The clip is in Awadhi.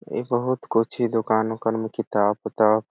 एगो औरत पूछी दुकान में किताब उताब--